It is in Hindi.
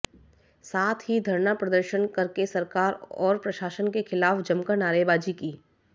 साथ ही धरना प्रदर्शन करके सरकार और प्रशासन के खिलाफ जमकर नारेबाजी की